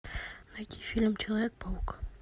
найти фильм человек паук